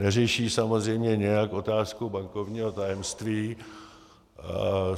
Neřeší samozřejmě nijak otázku bankovního tajemství.